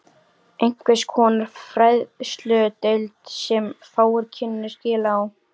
Einhvers konar fræðsludeild, sem fáir kynnu skil á.